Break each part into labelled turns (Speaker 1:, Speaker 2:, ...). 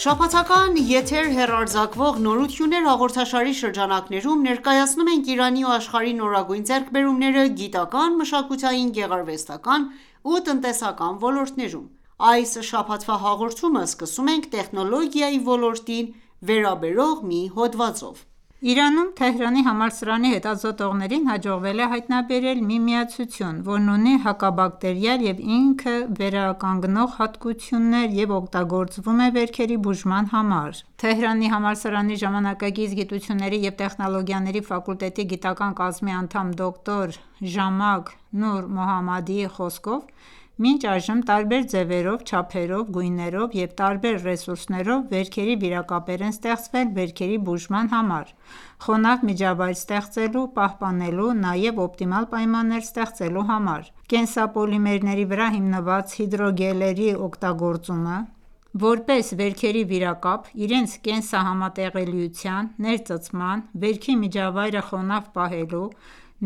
Speaker 1: Շաբաթական եթեր հեռարձակվող «Նորություններ»հաղորդաշարի շրջանակներում ,ներկայացնում ենք Իրանի ու աշխարհի նորագույն ձեռքբերումները՝գիտական, մշակութային ,գեղարվեստական ու տնտեսական ոլորտներում: Այս շաբաթվա հաղորդումը սկսում ենք տեխնոլոգիայի ոլորտի վերաբերյալ հոդվածով: Իրանում, Թեհրանի
Speaker 2: համալսարանի հետազոտողներին հաջողվել է հայտնաբերել մի միացություն, որն ունի հակաբակտերիալ և ինքվերականգնող հատկություններ և օգտագործվում է վերքերի բուժման համար։ Թեհրանի համալսարանի ժամանակակից գիտությունների և տեխնոլոգիաների ֆակուլտետի գիտական կազմի անդամ դոկտոր Ժամակ Նուրմոհամմադիի խոսքով, մինչ այժմ տարբեր ձևերով, չափերով, գույներով և տարբեր ռեսուրսներով վերքերի վիրակապեր են ստեղծվել վերքերի բուժման համար, խոնավ միջավայր ստեղծելու, պահպանելու ,նաև օպտիմալ պայմաններ ստեղծելու համար: Կենսապոլիմերների վրա հիմնված հիդրոգելների օգտագործումը, որպես վերքերի վիրակապ՝ իրենց կենսահամատեղելիության, ներծծման, վերքի միջավայրը խոնավ պահելու,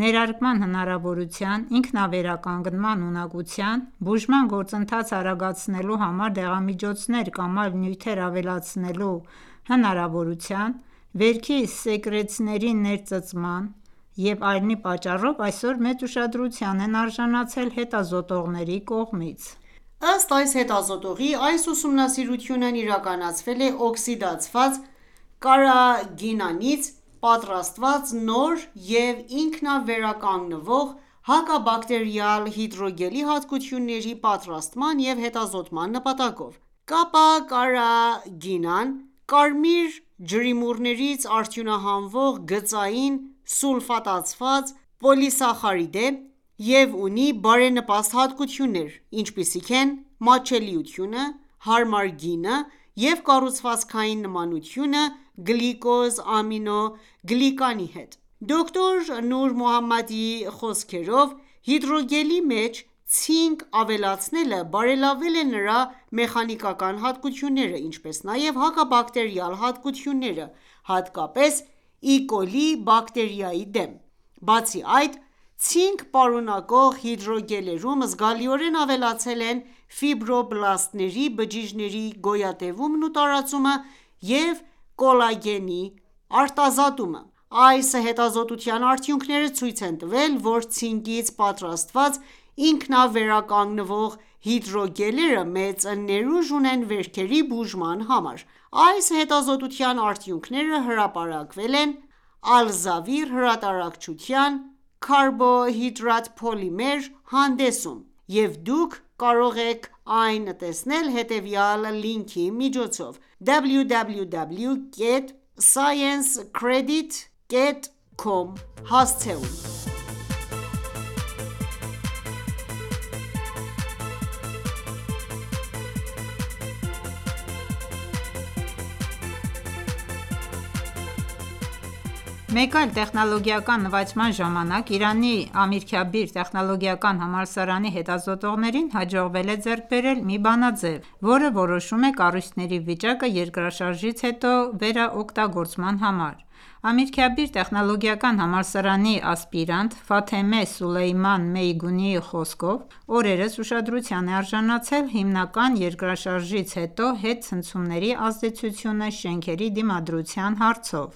Speaker 2: ներարկման հնարավորության, ինքնավերականգնման ունակության, բուժման գործընթացը արագացնելու համար դեղամիջոցներ կամ այլ նյութեր ավելացնելու հնարավորության, վերքի սեկրեցների ներծծման և այլնի պատճառով, այսօր մեծ ուշադրության են արժանացել հետազոտողների
Speaker 1: կողմից: Ըստ այս հետազոտողի՝ այս ուսումնասիրությունն իրականացվել է օքսիդացված կարագինանից պատրաստված նոր և ինքնավերականգնվող հակաբակտերիալ հիդրոգելի հատկությունների պատրաստման և հետազոտման նպատակով։ Kappa Carra geenan-ը կարմիր ջրիմուռներից արդյունահանվող գծային սուլֆատացված պոլիսախարիդ է և ունի բարենպաստ հատկություններ, ինչպիսիք են՝ մատչելիությունը, հարմար գինը և կառուցվածքային նմանությունը գլիկոզ ամինո գլիկանի հետ: Դոկտոր Նուրմոհամմադիի խոսքերով, հիդրոգելի մեջ ցինկ ավելացնելը բարելավել է նրա մեխանիկական հատկությունները, ինչպես նաև հակաբակտերիալ հատկությունները, հատկապես E. coli-բակտերիայի դեմ: Բացի այդ, ցինկ պարունակող հիդրոգելերում զգալիորեն ավելացել են ֆիբրոբլաստների բջիջների գոյատևումն ու տարածումը և կոլագենի արտազատումը: Այս հետազոտության արդյունքները ցույց են տվել, որ ցինկից պատրաստված ինքնավերականգնվող հիդրոգելերը մեծ ներուժ ունեն վերքերի բուժման համար: Այս հետազոտության արդյունքները հրապարակվել են «Ալզավիր»հրատարակչության «Carbo hydrate Polymer» հանդեսում և https://www.sciencedirect.com/science/articale/abs/pii/S0144861722012760 լինքի միջոցով հասանելի է ցանկացողներին ու հետազոտողներին:
Speaker 2: Մեկ այլ տեխնոլոգիական նվաճման ժամանակ, Իրանի Ամիրքաբիր տեխնոլոգիական համալսարանի հետազոտողներին հաջողվել է ձեռք բերել մի բանաձև, որը որոշում է կառույցների վիճակը երկրաշարժից հետո վերաօգտագործման համար: Ամիրքաբիր տեխնոլոգիական համալսարանի ասպիրանտ Ֆաթեմե Սոլեյման Մեյգունիի խոսքով՝ օրերս ուշադրության է արժանացել հիմնական երկրաշարժից հետո հետցնցումների ազդեցությունը շենքերի դիմակայության հարցով: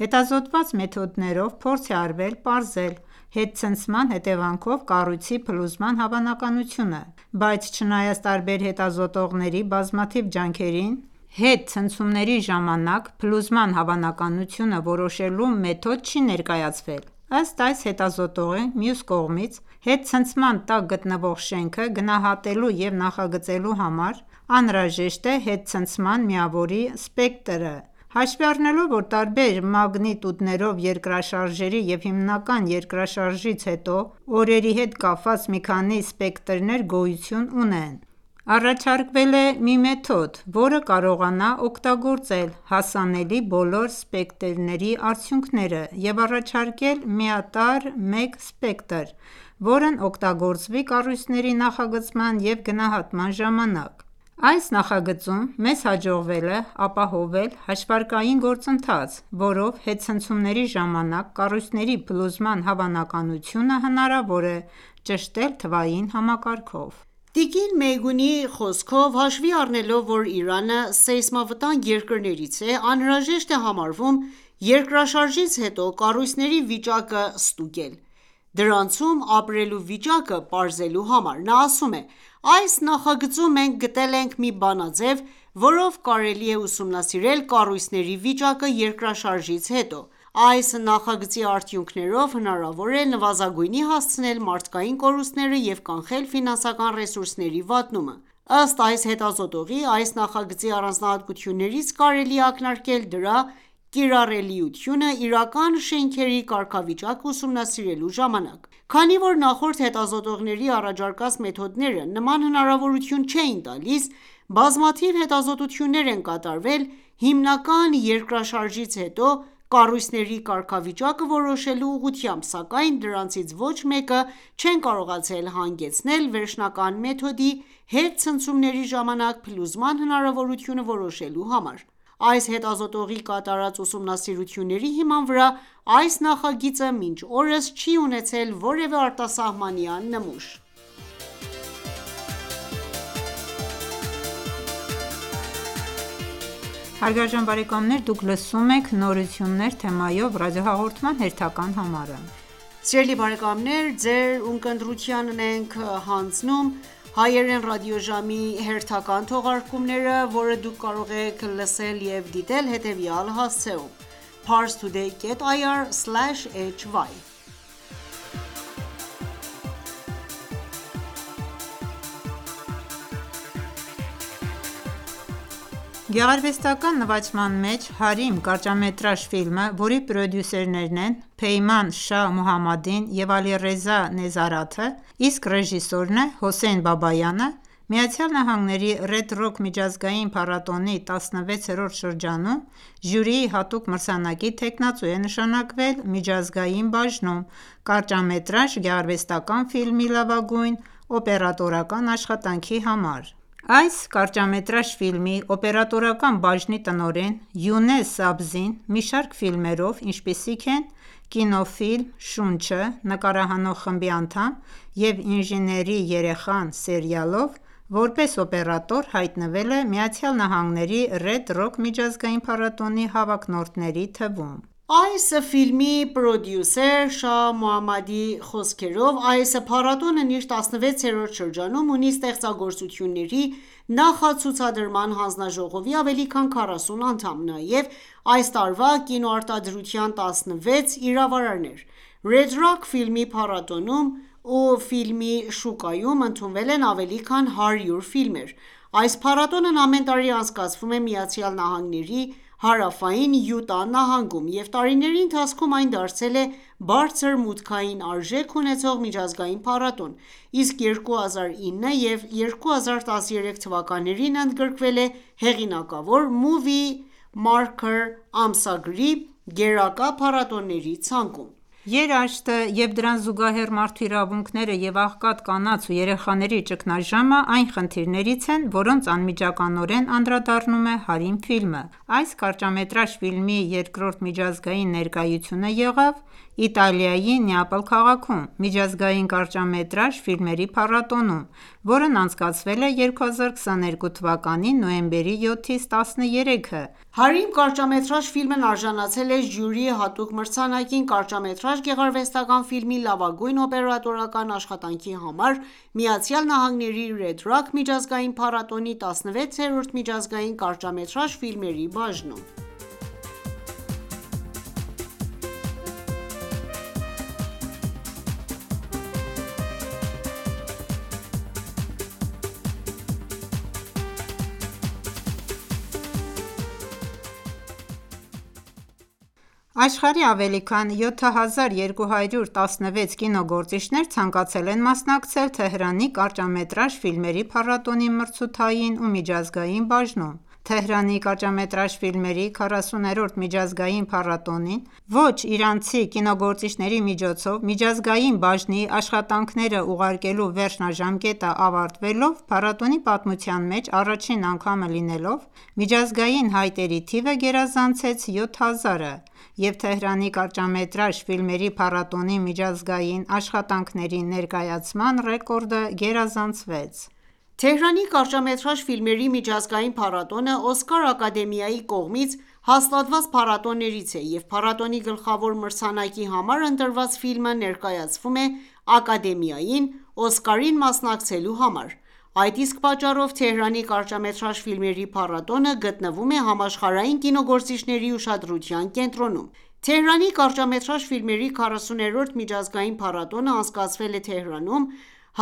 Speaker 2: Հետազոտված մեթոդներով փորձ է արվել պարզել հետցնցման հետևանքով կառույցի փլուզման հավանականությունը: Բայց չնայած տարբեր հետազոտողների բազմաթիվ ջանքերին, հետցնցումների ժամանակ փլուզման հավանականությունը որոշելու մեթոդ չի ներկայացվել: Ըստ այս հետազոտողի, մյուս կողմից, հետցնցման տակ գտնվող շենքը գնահատելու և նախագծելու համար անհրաժեշտ է հետցնցման միավորի սպեկտրը, հաշվի առնելով, որ տարբեր մագնիտուդներով երկրաշարժերի և հիմնական երկրաշարժից հետո օրերի հետ կապված մի քանի սպեկտրներ գոյություն ունեն, առաջարկվել է մի մեթոդ, որը կարողանա օգտագործել հասանելի բոլոր սպեկտրների արդյունքները և առաջարկել միատարր մեկ սպեկտր, որն օգտագործվի կառույցների նախագծման և գնահատման ժամանակ։ Այս նախագծում մեզ հաջողվել է ապահովել հաշվարկային գործընթաց, որով հետցնցումների ժամանակ կառույցների փլուզման հավանականությունը հնարավոր է ճշտել թվային համակարգով։
Speaker 1: Տիկին Մեյգունիի խոսքով՝ հաշվի առնելով, որ Իրանը սեյսմավտանգ երկրներից է, անհրաժեշտ է համարվում երկրաշարժից հետո կառույցների վիճակը ստուգել,՝ դրանցում ապրելու վիճակը պարզելու համար։ Նա ասում է.«Այս նախագծում մենք գտել ենք մի բանաձև, որով կարելի է ուսումնասիրել կառույցների վիճակը երկրաշարժից հետո: Այս նախագծի արդյունքներով հնարավոր է նվազագույնի հասցնել մարդկային կորուստները և կանխել ֆինանսական ռեսուրսների վատնումը»։ Ըստ այս հետազոտողի, այս նախագծի առանձնահատկություններից կարելի է ակնարկել դրա կիրառելիությունը իրական շենքերի կարգավիճակը ուսումնասիրելու ժամանակ: Քանի որ նախորդ հետազոտողների առաջարկած մեթոդները նման հնարավորություն չէին տալիս։ Բազմաթիվ հետազոտություններ են կատարվել հիմնական երկրաշարժից հետո կառույցների կարգավիճակը որոշելու ուղղությամբ, սակայն դրանցից ոչ մեկը չեն կարողացել հանգեցնել վերջնական մեթոդի՝ հետցնցումների ժամանակ փլուզման հավանականությունը որոշելու համար: Այս հետազոտողի կատարած ուսումնասիրությունների հիման վրա ,այս նախագիծը մինչ օրս չի ունեցել որևէ արտասահմանյան նմուշ։
Speaker 2: Գեղարվեստական նվաճման մեջ «Հարիմ» կարճամետրաժ ֆիլմը, որի պրոդյուսերներն են Փեյման Շահ Մոհամմադին և Ալիռեզա Նեզարաթը ,իսկ ռեժիսորն է Հոսեյն Բաբայանը, ԱՄՆ-ի Red Rock միջազգային փառատոնի 16-րդ շրջանում ժյուրիի հատուկ մրցանակի թեկնածու է նշանակվել ,միջազգային բաժնում կարճամետրաժ գեղարվեստական ֆիլմի լավագույն օպերատորական աշխատանքի համար։ Այս կարճամետրաժ ֆիլմի օպերատորական բաժնի տնօրեն Յունես Սաբզին մի շարք ֆիլմերով ,ինչպիսիք են՝ կինոֆիլմ«Շունչը» (նկարահանող խմբի անդամ) և «Ինժեների երեխան» սերիալով, որպես օպերատոր, հայտնվել է ԱՄՆ-ի Red Rock միջազգային փառատոնի հավակնորդների թվում։
Speaker 1: Այս ֆիլմի պրոդյուսեր Շահ Մոհամմադիի խոսքերով, այս փառատոնն իր 16-րդ շրջանում ունի ստեղծագործությունների նախացուցադրման հանձնաժողովի ավելի քան 40 անդամ, նաև այս տարվա կինոարտադրության 16 իրավարարներ: Red Rock ֆիլմի փառատոնում ու ֆիլմի շուկայում ընդունվել են ավելի քան 100 ֆիլմեր: Այս փառատոնն ամեն տարի անցկացվում է ԱՄՆ-ի հարավային Յուտա նահանգում ,և տարիների ընթացքում այն դարձել է «բարձր մուտքային արժեք» ունեցող միջազգային փառատոն, իսկ 2009 եւ 2013 թվականներին ընդգրկվել է հեղինակավոր «Movie Maker» ամսագրի գերակա փառատոների ցանկում։
Speaker 2: Երաշտը և դրան զուգահեռ՝ մարդու իրավունքները և աղքատ կանանց ու երեխաների ճգնաժամը այն խնդիրներից են, որոնց անմիջականորեն անդրադառնում է Հարիմ ֆիլմը։ Այս կարճամետրաժ ֆիլմի երկրորդ միջազգային ներկայությունը եղավ Իտալիայի Նեապոլ քաղաքում՝ միջազգային կարճամետրաժ ֆիլմերի փառատոնում accordi @DISACCORDI, որն անցկացվել է 2022 թվականի նոյեմբերի 7-ից 13-ը,
Speaker 1: այսինքն իրանական 1401 թվականի նոյեմբերի 16-ից 22-ը։ «Հարիմ» կարճամետրաժ ֆիլմն արժանացել է ժյուրիի հատուկ մրցանակին կարճամետրաժ գեղարվեստական ֆիլմի լավագույն օպերատորական աշխատանքի համար, ԱՄՆ-ի Red Rock միջազգային փառատոնի 16-րդ միջազգային կարճամետրաժ ֆիլմերի բաժնում:
Speaker 2: Աշխարհի ավելի քան 7216 կինոգործիչներ ցանկացել են մասնակցել Թեհրանի կարճամետրաժ ֆիլմերի փառատոնի մրցութային և միջազգային բաժնում: Թեհրանի կարճամետրաժ ֆիլմերի 40-րդ միջազգային փառատոնին ,ոչ իրանցի կինոգործիչների միջոցով ,միջազգային բաժնի աշխատանքները ուղարկելու վերջնաժամկետը ավարտվելով, փառատոնի պատմության մեջ առաջին անգամը լինելով, միջազգային հայտերի թիվը գերազանցեց 7000-ը, և Թեհրանի կարճամետրաժ ֆիլմերի փառատոնի միջազգային աշխատանքների ներկայացման ռեկորդը գերազանցվեց։
Speaker 1: Թեհրանի կարճամետրաժ ֆիլմերի միջազգային փառատոնը Օսկար ակադեմիայի կողմից հաստատված փառատոններից է, և փառատոնի գլխավոր մրցանակի համար ընտրված ֆիլմը ներկայացվում է Ակադեմիային, Օսկարին մասնակցելու համար, այդ իսկ պատճառով Թեհրանի կարճամետրաժ ֆիլմերի փառատոնը (tisff) գտնվում է համաշխարհային կինոգործիչների ուշադրության կենտրոնում: Թեհրանի կարճամետրաժ ֆիլմերի 40-րդ միջազգային փառատոնը անցկացվել է Թեհրանում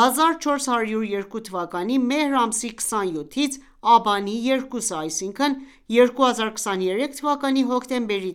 Speaker 1: 1402 թվականի մեհր ամսի 27-ից աբանի 2-ը (2023 թվականի հոկտեմբերի